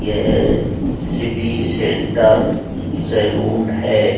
यह city centre salon है।